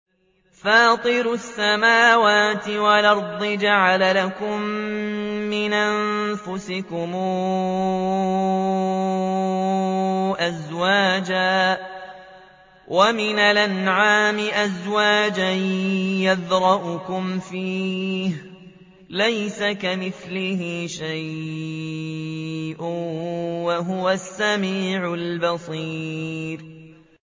فَاطِرُ السَّمَاوَاتِ وَالْأَرْضِ ۚ جَعَلَ لَكُم مِّنْ أَنفُسِكُمْ أَزْوَاجًا وَمِنَ الْأَنْعَامِ أَزْوَاجًا ۖ يَذْرَؤُكُمْ فِيهِ ۚ لَيْسَ كَمِثْلِهِ شَيْءٌ ۖ وَهُوَ السَّمِيعُ الْبَصِيرُ